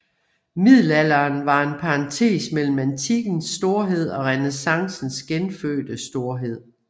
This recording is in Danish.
Middelalderen var en parentes mellem antikkens storhed og renæssancens genfødte storhed